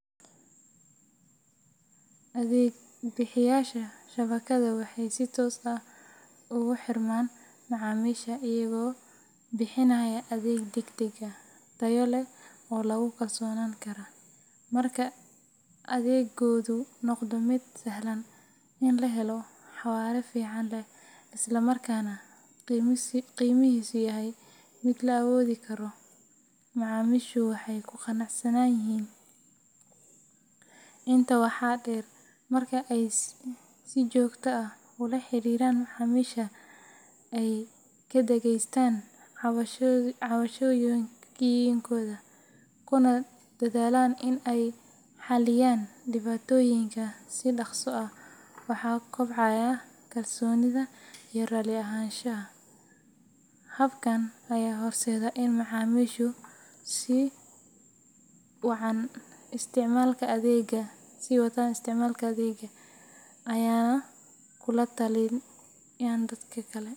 Adeeg bixiyeyaasha shabakadda waxay si toos ah ugu xirmaan macaamiisha iyaga oo bixinaya adeeg degdeg ah, tayo leh, oo lagu kalsoonaan karo. Marka adeeggoodu noqdo mid sahlan in la helo, xawaare fiican leh, isla markaana qiimihiisu yahay mid la awoodi karo, macaamiishu way ku qanacsan yihiin. Intaa waxaa dheer, marka ay si joogto ah ula xiriiraan macaamiisha, ay ka dhageystaan cabashooyinkooda, kuna dadaalaan in ay xalliyaan dhibaatooyinka si dhaqso ah, waxaa kobcaya kalsoonida iyo raalli ahaanshaha. Habkan ayaa horseeda in macaamiishu sii wataan isticmaalka adeegga, ayna kula taliyaan dadka kale.